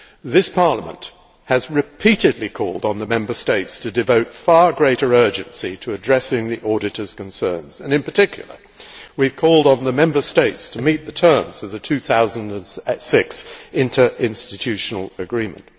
This Parliament has repeatedly called on the Member States to devote far greater urgency to addressing the auditors' concerns, and in particular, we have called on the Member States to meet the terms of the 2006 interinstitutional agreement.